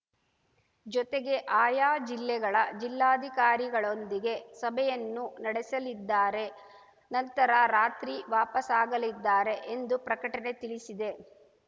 ಜೊತೆಗೆ ಆಯಾ ಜಿಲ್ಲೆಗಳ ಜಿಲ್ಲಾಧಿಕಾರಿಗಳೊಂದಿಗೆ ಸಭೆಯನ್ನೂ ನಡೆಸಲಿದ್ದಾರೆ ನಂತರ ರಾತ್ರಿ ವಾಪಸಾಗಲಿದ್ದಾರೆ ಎಂದು ಪ್ರಕಟಣೆ ತಿಳಿಸಿದೆ